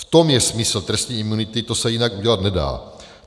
V tom je smysl trestní imunity, to se jinak udělat nedá.